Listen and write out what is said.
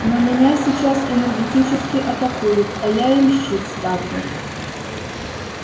но меня сейчас энергетически атакуют а я им щит ставлю